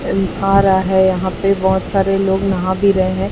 अं आ रहा है यहां पे बहुत सारे लोग नहा भी रहे हैं।